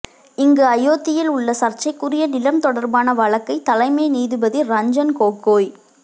இங்கு அயோத்தியில் உள்ள சர்ச்சைக்குரிய நிலம் தொடர்பான வழக்கை தலைமை நீதிபதி ரஞ்சன் கோகோய்